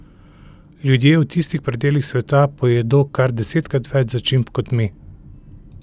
Ljudje v tistih predelih sveta pojedo kar desetkrat več začimb kot mi.